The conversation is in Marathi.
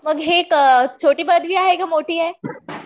मग हे छोटी पदवी आहे का मोठी आहे